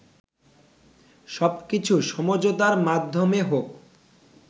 সবকিছু সমঝোতার মাধ্যমে হোক